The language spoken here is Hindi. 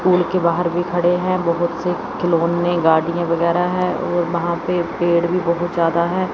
पूल के बाहर भी खड़े हैं बहुत से खिलौने गाड़ियां वगैरह हैं और वहां पे पेड़ भी बहुत ज्यादा हैं।